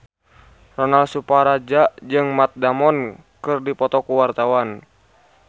Ronal Surapradja jeung Matt Damon keur dipoto ku wartawan